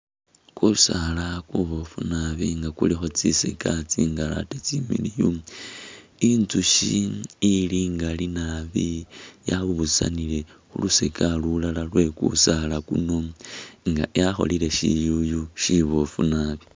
Kusaala kuboofu naabi nga kulikho kyishocha tsingaali atee tsimiliyu , Intsukhi ili ingaali naabi yabusanile khu lusocha lulala lwe’kusaala kunu nga yakholele shiyuyu shiboofu naabi.